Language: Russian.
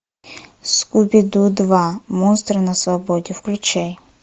скуби ду два монстры на свободе включай